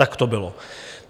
Tak to bylo.